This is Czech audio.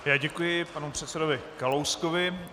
Já děkuji panu předsedovi Kalouskovi.